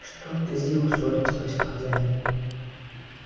что ты сделал сурин спросил хозяин